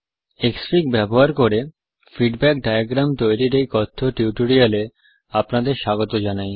ক্সফিগ ব্যবহার করে feedback diagram তৈরীর এই কথ্য টিউটোরিয়াল এ আপনাদের স্বাগত জানাই